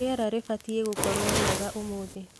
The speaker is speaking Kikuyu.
rĩera ribatĩe gũkorwo riegaũmũthĩ